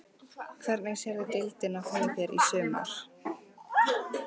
Hvernig sérðu deildina fyrir þér í sumar?